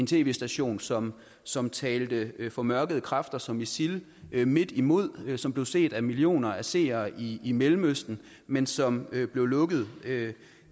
tv station som som talte formørkede kræfter som isil midt imod og som blev set af millioner af seere i i mellemøsten men som blev lukket